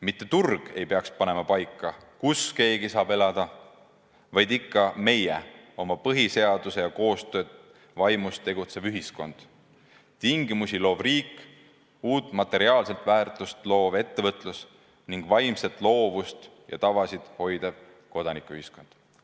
Mitte turg ei peaks panema paika, kus keegi saab elada, vaid ikka meie oma põhiseaduse ja koostöö vaimus tegutsev ühiskond, tingimusi loov riik, uut materiaalset väärtust loov ettevõtlus ning vaimset loovust ja tavasid hoidev kodanikuühiskond.